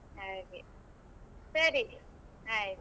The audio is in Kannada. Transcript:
ಹಾಗೆ ಸರಿ ಆಯ್ತು.